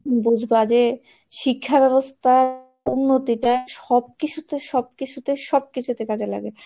বুঝবা যে শিক্ষা ব্যবস্থার উন্নতিটা সব কিছুতে সব কিছুতে সব কিছুতে কাজে লাগে।